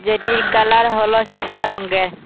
এটির কালার হলো সাদা রঙ্গে।